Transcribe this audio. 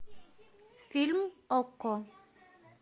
фильм окко